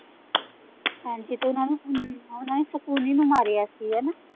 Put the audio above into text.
ਹਾਂਜੀ ਓਹਨਾ ਨੇ ਅਮ ਓਹਨਾ ਨੇ ਸ਼ਕੁਨੀ ਨੂੰ ਮਾਰਿਆ ਸੀ ਹਣਾ।